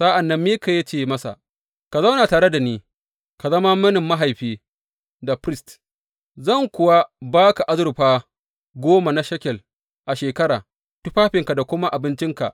Sa’an nan Mika ya ce masa, Ka zauna tare da ni ka zama mini mahaifi da firist, zan kuwa ba ka azurfa goma na shekel a shekara, tufafinka da kuma abincinka.